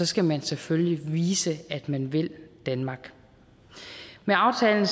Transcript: skal man selvfølgelig vise at man vil danmark med aftalen